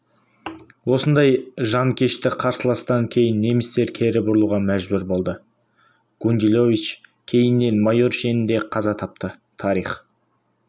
осындай жанкешті қарсыластан кейін немістер кері бұрылуға мәжбүр болды гундилович кейіннен майор шенінде қаза тапты тарих